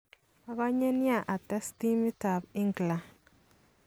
"Okonye nia ates timit tab England.